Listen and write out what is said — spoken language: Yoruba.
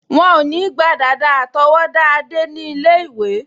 Wọ́n ò ní gba dàda àtọwọ́dá Adé ní ilé-ìwé